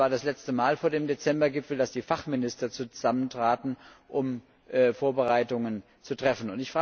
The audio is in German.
Es war das letzte Mal vor dem Dezembergipfel, dass die Fachminister zusammentraten, um Vorbereitungen zu treffen.